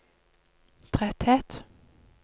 tretthet